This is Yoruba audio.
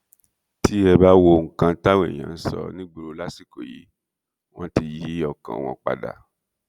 tẹ ẹ bá wo nǹkan táwọn èèyàn ń sọ nígboro lásìkò yìí wọn ti yí ọkàn wọn padà